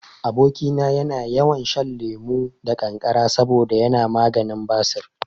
Aboki na yana yawan shan lemo da kankara saboda yana maganin basir